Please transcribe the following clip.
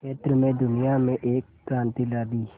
क्षेत्र में दुनिया में एक क्रांति ला दी